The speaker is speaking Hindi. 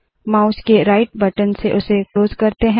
माउस के राइट बटन से उसे क्लोज़ करते है